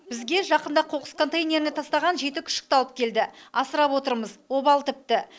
бізге жақында қоқыс контейнеріне тастаған жеті күшікті алып келді асырап отырмыз обал тіпті